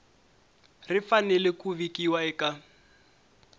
ri fanele ku vikiwa eka